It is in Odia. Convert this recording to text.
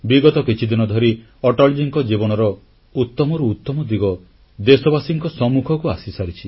ବିଗତ କିଛିଦିନ ଧରି ଅଟଳଜୀଙ୍କ ଜୀବନର ଉତ୍ତମରୁ ଉତ୍ତମ ଦିଗ ଦେଶବାସୀଙ୍କ ସମ୍ମୁଖକୁ ଆସିସାରିଛି